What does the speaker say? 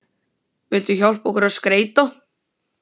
Vilt þú hjálpa okkur að skreyta?